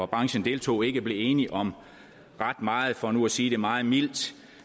branchen deltog i ikke blev enige om ret meget for nu at sige det meget mildt